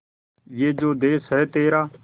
ये जो देस है तेरा